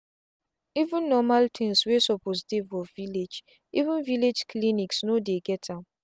even normal things wey suppose dey for village-even villlage clinics no dey get am